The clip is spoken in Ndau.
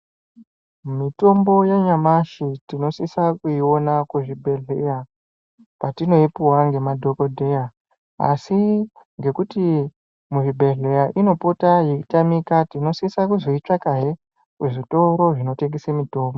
Mitombo yanyamashi tinosisa kuyiwona kuzvibhedhleya ,patinoyipuwa ngemadhokodheya, asi ngekuti muzvibhedhleya inopota yeitamika, tinosisa kuzoyitsvakahe kuzvitoro zvinotengesa mitombo.